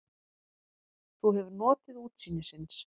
Þú hefur notið útsýnisins?